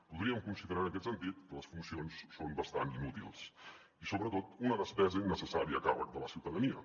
podríem considerar en aquest sentit que les funcions són bastant inútils i sobretot una despesa innecessària a càrrec de la ciutadania